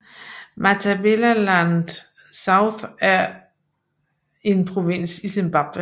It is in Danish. Matabeleland South er en provins i Zimbabwe